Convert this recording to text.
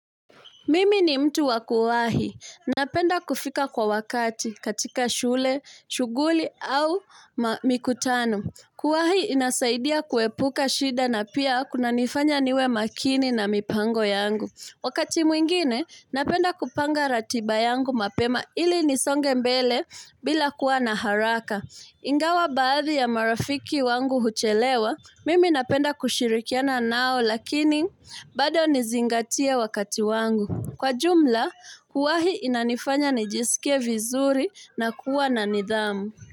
Mimi ni mtu wa kuwahi. Napenda kufika kwa wakati katika shule, shughuli au mikutano. Kuwahi inasaidia kuepuka shida na pia kunanifanya niwe makini na mipango yangu. Wakati mwingine, napenda kupanga ratiba yangu mapema ili nisonge mbele bila kuwa na haraka. Ingawa baadhi ya marafiki wangu huchelewa, mimi napenda kushirikiana nao lakini bado nizingatie wakati wangu. Kwa jumla, kuwahi inanifanya nijisike vizuri na kuwa na nidhamu.